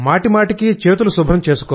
మాటిమాటికీ చేతులు శుభ్రం